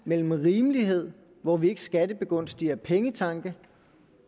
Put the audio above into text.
mellem rimelighed hvor vi ikke skattebegunstiger pengetanke